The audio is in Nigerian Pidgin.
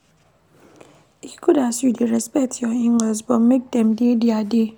E good as you dey respect your in-laws but make dem dey their dey.